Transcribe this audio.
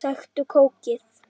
Sæktu kókið.